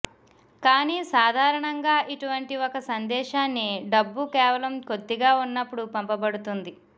కానీ సాధారణంగా ఇటువంటి ఒక సందేశాన్ని డబ్బు కేవలం కొద్దిగా ఉన్నప్పుడు పంపబడుతుంది